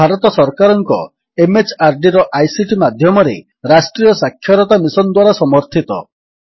ଏହା ଭାରତ ସରକାରଙ୍କ MHRDର ଆଇସିଟି ମାଧ୍ୟମରେ ରାଷ୍ଟ୍ରୀୟ ସାକ୍ଷରତା ମିଶନ୍ ଦ୍ୱାରା ସମର୍ଥିତ